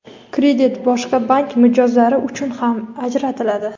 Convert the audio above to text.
Kredit boshqa bank mijozlari uchun ham ajratiladi.